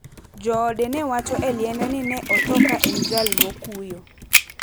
Joode ne wacho e liende ni ne otho ka en jal mokuyo.